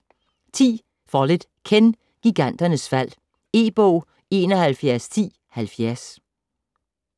Follett, Ken: Giganternes fald E-bog 711070